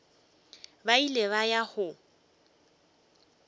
ba ile ba ya go